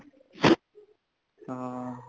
ਹਾਂ